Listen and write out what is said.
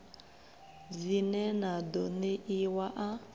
dzine na ḓo ṋeiwa a